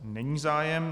Není zájem.